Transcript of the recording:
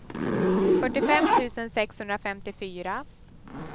fyrtiofem tusen sexhundrafemtiofyra